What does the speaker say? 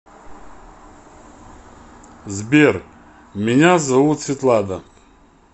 сбер меня зовут светлана